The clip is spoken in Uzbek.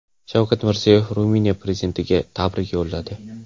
Shavkat Mirziyoyev Ruminiya prezidentiga tabrik yo‘lladi.